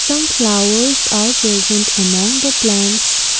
some flowers are present among the plants.